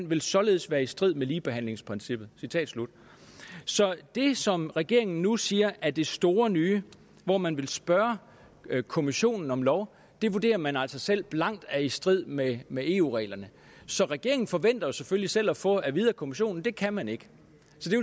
vil således være i strid med ligebehandlingsprincippet citat slut så det som regeringen nu siger er det store nye hvor man vil spørge kommissionen om lov vurderer man altså selv blankt er i strid med med eu reglerne så regeringen forventer jo selvfølgelig selv at få at vide af kommissionen at det kan man ikke